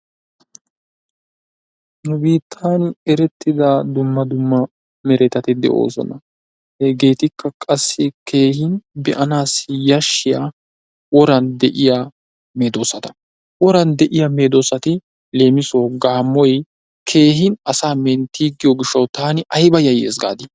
Nu biittan dumma dumma erettida meretati de'oosona. Hegeetikka qassi keehi be'anaassi yashshiya woran de'iya medoosata. Woran de'iya medoosati leem Gaammoy asaa menttiigiyo gishshatawu taani ayba yayyees gaadii?